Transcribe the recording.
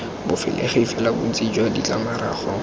bofegile fela bontsi jwa ditlamorago